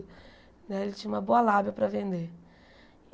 Né ele tinha uma boa lábia para vender.